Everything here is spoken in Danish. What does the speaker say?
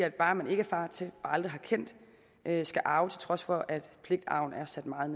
et barn man ikke er far til og aldrig har kendt skal arve til trods for at pligtarven er sat meget